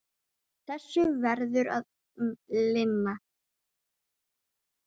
Þessu verður að linna.